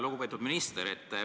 Lugupeetud minister!